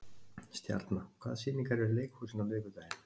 Stjarna, hvaða sýningar eru í leikhúsinu á miðvikudaginn?